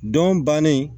Don bannen